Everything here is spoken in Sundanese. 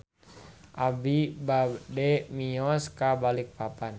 Abi bade mios ka Balikpapan